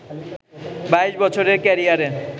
২২ বছরের ক্যারিয়ারে